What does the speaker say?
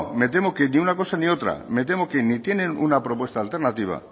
me temo que ni de una cosa ni otra me temo que ni tienen una propuesta alternativa